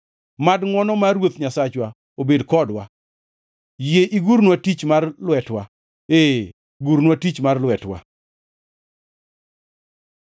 Mad ngʼwono mar Ruoth Nyasachwa obed kodwa; yie igurnwa tich mar lwetwa, ee gurnwa tich mar lwetwa.